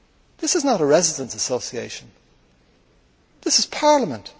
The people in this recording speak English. This is not a residents' association, this is Parliament!